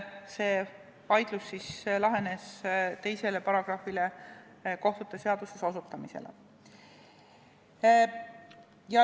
See vaidlus lahenes nii, et osutati kohtute seaduse §-le 2.